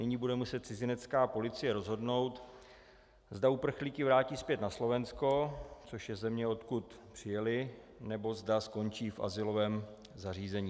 Nyní bude muset cizinecká policie rozhodnout, zda uprchlíky vrátí zpět na Slovensko, což je země, odkud přijeli, nebo zda skončí v azylovém zařízení.